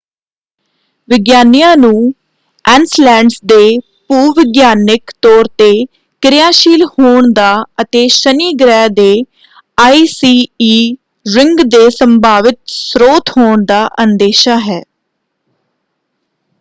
ਵਿਗਿਆਨੀਆਂ ਨੂੰ ਐਨਸਲੈਡਸ ਦੇ ਭੂ-ਵਿਗਿਆਨਿਕ ਤੌਰ ‘ਤੇ ਕਿਰਿਆਸ਼ੀਲ ਹੋਣ ਦਾ ਅਤੇ ਸ਼ਨੀ ਗ੍ਰਹਿ ਦੇ ਆਈਸੀ ਈ ਰਿੰਗ ਦੇ ਸੰਭਾਵਿਤ ਸਰੋਤ ਹੋਣ ਦਾ ਅੰਦੇਸ਼ਾ ਹੈ।